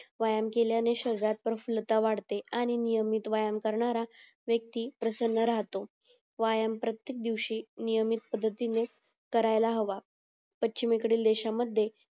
व्यायाम केल्याने शरीरात प्रसन्नता वाढते आणि नियमित व्यायाम करणारा व्यक्ती प्रसन्न राहतो व्यायाम प्रत्येकदिवशी नियमित पद्धतीने करायला हवा पश्चिमेकडील देशांमध्ये